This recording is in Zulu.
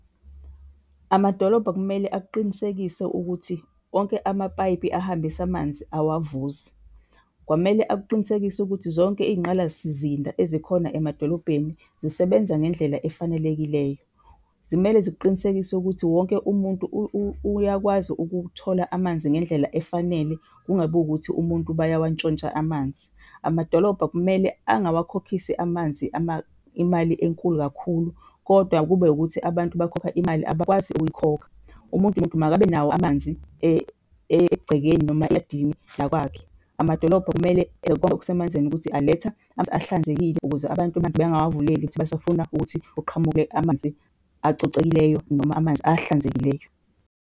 Amadolobha kumele akuqinisekise ukuthi wonke amapayipi ahambisa amanzi awavuzi. Kwamele akuqinisekise ukuthi zonke iy'nqalasizinda ezikhona emadolobheni zisebenza ngendlela efanelekileyo. Zimele zikuqinisekisa ukuthi wonke umuntu uyakwazi ukuthola amanzi ngendlela efanele kungabi wukuthi umuntu bayawantshontsha amanzi. Amadolobha kumele angawakhokhisi amanzi imali enkulu kakhulu kodwa kube wukuthi abantu bakhokha imali abakwazi ukuyikhokha. Umuntu nomuntu makabe nawo amanzi egcekeni noma eyadini lakwakhe. Amadolobha kumele enze konke okusemandleni ukuthi aletha amanzi ahlanzekile ukuze abantu amanzi bangawavuleli ukuthi basafuna ukuthi kuqhamuke amanzi acocekile noma amanzi ahlanzekileyo.